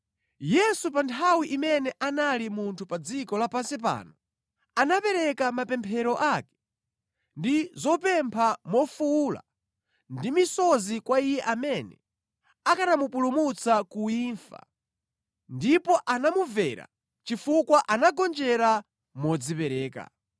Yesu, pa nthawi imene anali munthu pa dziko lapansi pano, anapereka mapemphero ake ndi zopempha mofuwula ndi misozi kwa Iye amene akanamupulumutsa ku imfa, ndipo anamumvera chifukwa anagonjera modzipereka.